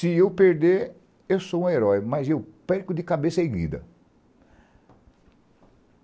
Se eu perder, eu sou um herói, mas eu perco de cabeça erguida.